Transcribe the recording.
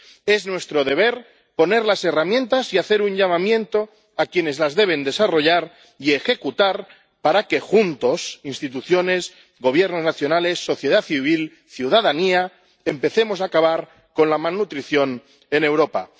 Es nuestro deber poner las herramientas y hacer un llamamiento a quienes las deben desarrollar y ejecutar para que juntos —instituciones, gobiernos nacionales, sociedad civil, ciudadanía— empecemos a acabar con la malnutrición en Europa.